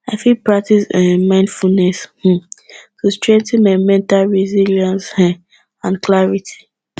i fit practice um mindfulness um to strengthen my mental resilience um and clarity